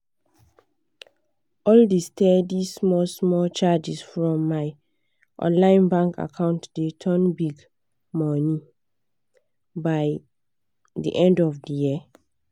all the steady small small charges from my online bank account dey turn big money by the end of the year.